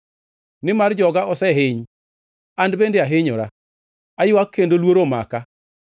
Nimar joga osehiny, an bende ahinyora; aywak kendo luoro omaka.